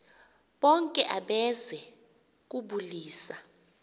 bonke abeze kubulisa